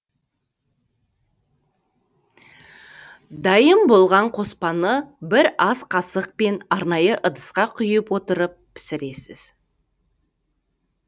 дайын болған қоспаны бір ас қасықпен арнайы ыдысқа құйып отырып пісіресіз